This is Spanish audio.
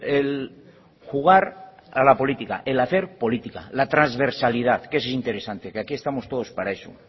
el jugar a la política el hacer política la transversalidad que es interesante que aquí estamos todos para eso